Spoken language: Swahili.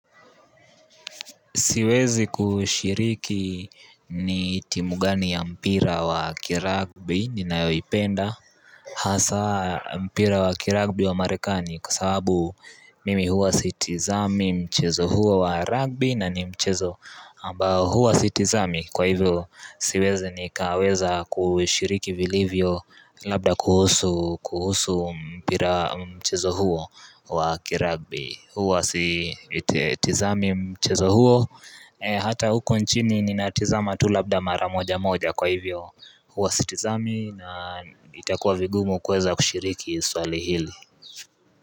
Siwezi kushiriki ni timu gani ya mpira wa kiragbi ninayoipenda Hasa mpira wa kiragbi wa marekani kwa sababu mimi huwa sitizami mchezo huo wa ragbi na ni mchezo ambao huwa sitizami kwa hivyo siwezi nikaweza kushiriki vilivyo labda kuhusu mpira mchezo huo wa kiragbi, huwa sitizami mchezo huo Hata huko nchini ninatizama tu labda mara moja moja kwa hivyo huwa sitizami na itakuwa vigumu kuweza kushiriki swali hili.